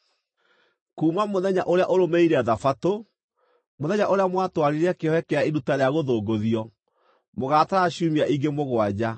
“ ‘Kuuma mũthenya ũrĩa ũrũmĩrĩire Thabatũ, mũthenya ũrĩa mwatwarire kĩohe kĩa iruta rĩa gũthũngũthio, mũgatara ciumia ingĩ mũgwanja.